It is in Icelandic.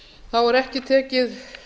þá er ekki tekið